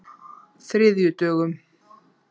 þriðjudögum